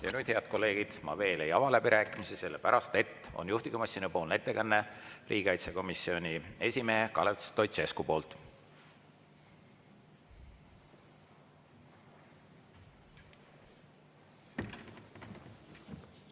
Ja nüüd, head kolleegid, ma veel ei ava läbirääkimisi, sellepärast et riigikaitsekomisjoni esimees Kalev Stoicescu teeb juhtivkomisjoni ettekande.